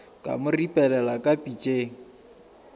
ka mo ripelela ka pitšeng